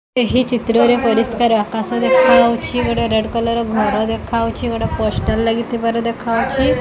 ଏହି ଚିତ୍ରରେ ପରିଷ୍କାର ଆକାଶ ଦେଖାହୋଉଛି। ଗୋଟେ ରେଡ କଲର ଘର ଦେଖାହୋଉଛି। ଗୋଟେ ପୋଷ୍ଟର ଲାଗିଥିବାର ଦେଖାହୋଉଛି।